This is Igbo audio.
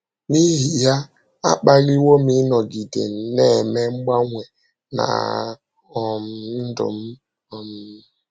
N’ihi ya, a kpaliwo m ịnọgide na - eme mgbanwe ná um ndụ m. um